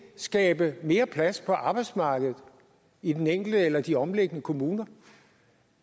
skabe mere plads på arbejdsmarkedet i den enkelte eller de omliggende kommuner